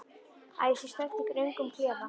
Að ég sé stödd í röngum klefa?